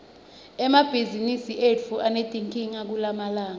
emabhizimisi etfu anetinkinga kulamalanga